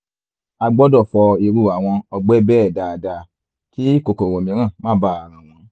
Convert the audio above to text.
a gbọ́dọ̀ fọ irú àwọn ọgbẹ́ bẹ́ẹ̀ dáadáa kí kòkòrò mìíràn má baà ràn wọ́n